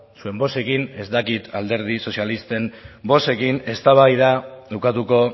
zuen bozkekin ez dakit alderdi sozialisten bozkekin eztabaida ukatuko